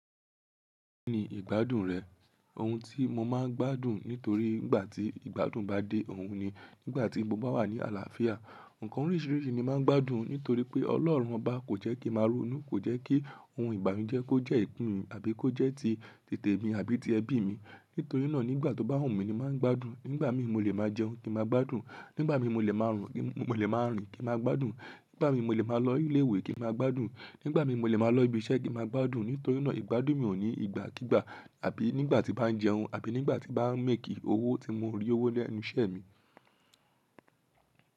Kí ni ìgbádùn rẹ̀? Ohun tí mo má a ń gbádùn nítorí ìgbà tí ìgbádùn bá dé, òun ni. Nígbà tí mo bá wà ní àlàáfíà, ǹkan oríṣìíríṣìí ni mo má a ń gbádùn nítorí pé ọlọ́run ọba kò jẹ́ kí màá ronú, kò jẹ́ kí oun ibanujej kó jẹ́ ìpín mi àbí kó jẹ́ ti titè mi àbí ti ẹbí mi. Nítorí náà nígbà tó bá wù mí ni má a ń gbádùn. Nígbà mí mo lè má a jẹun kí n ma gbádùn, nígbà mí mo lè máa rìn kí ma gbádùn, nígbà mí mo lè máa lọ ilé ìwé kí n ma gbádùn, nígbà mí mo lè máa lọ ibi iṣẹ́ kí ma gbádùn. Nítorí náà ìgbádùn mi ò ní ìgbà kígba àbí nígbà tí bá ń jẹun àbí nígbà tí bá ń make owó tí mo rí owó lẹ́nu iṣẹ́ mi.